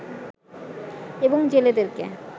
এবং জেলেদেরকে